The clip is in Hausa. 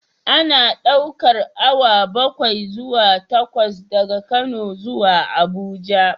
Ana ɗaukar awa bakwai zuwa takwas daga Kano zuwa Abuja